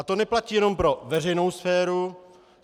A to neplatí jenom pro veřejnou sféru.